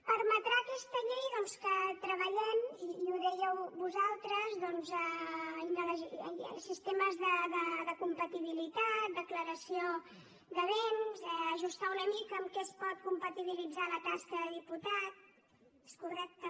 permetrà aquesta llei doncs que treballem i ho dèieu vosaltres sistemes de compatibilitat declaració de béns ajustar una mica amb què es pot compatibilitzar la tasca de diputat és correcte